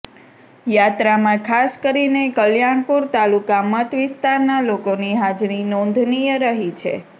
યાત્રામાં ખાસ કરીને કલ્યાણપુર તાલુકા મત વિસ્તારના લોકોની હાજરી નોંધનીય રહી છે